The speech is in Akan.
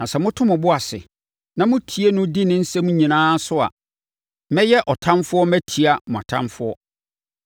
Na sɛ moto mo bo ase, na motie no, di me nsɛm nyinaa so a, mɛyɛ ɔtamfoɔ matia mo atamfoɔ.